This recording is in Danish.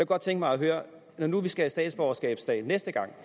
godt tænke mig at høre når nu vi skal have statsborgerskabsdag næste gang